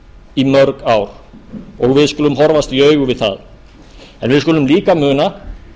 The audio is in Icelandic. í mörg ár og við skulum horfast í augu við það en við skulum líka muna